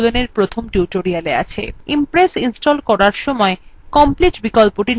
মনে রাখবেন impress install করার সময় complete বিকল্পটি নির্বাচন করবেন